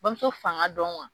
Bamuso fanga dɔn